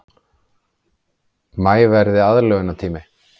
Maí verði aðlögunartími